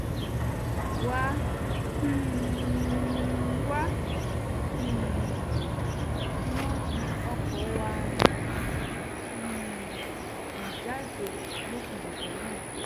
wà-kí-n-wà um ni wọ́n fi o̩kò̩ wà ní um ìjáde lópin ọ̀sẹ̀ náà s̩e